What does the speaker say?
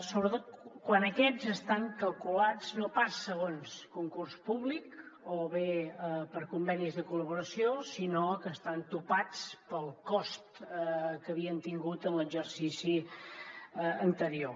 sobretot quan aquests estan calculats no pas segons concurs públic o bé per convenis de col·laboració sinó que estan topats pel cost que havien tingut en l’exercici anterior